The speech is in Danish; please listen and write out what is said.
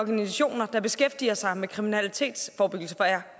organisationer der beskæftiger sig med kriminalitetsforebyggelse for jeg